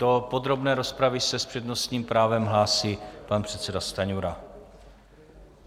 Do podrobné rozpravy se s přednostním právem hlásí pan předseda Stanjura.